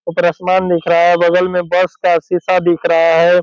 ऊपर आसमान दिख रहा है बगल में बस का शीशा दिख रहा है।